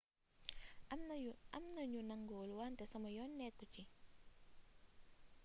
am na ñu nanguwul wante sama yoon nekku ci